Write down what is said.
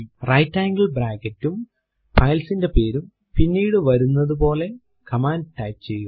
right angle bracket ഉം file ന്റെ പേരും പിന്നീടു വരുന്നത് പോലെ കമാൻഡ് ടൈപ്പ് ചെയ്യുക